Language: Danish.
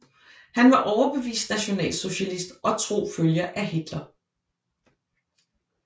Han var overbevist nationalsocialist og tro følger af Hitler